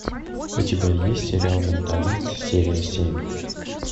у тебя есть сериал менталист серия семь